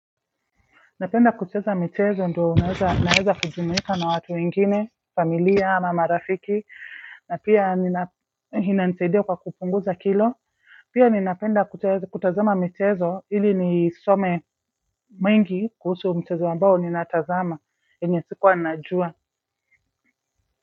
Napenda kucheza michezo ndio naweza kujumka na watu wengine familia na marafiki na pia inizaidia kwa kupunguza kilo pia ninapenda kutazama michezo ili ni some mingi kuhusu mchezo ambao ninatazama enye sikuwa najua.